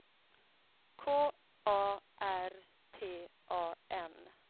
K A R T A N